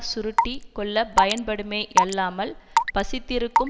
சுருட்டி கொள்ள பயன்படுமேயல்லாமல் பசித்திருக்கும்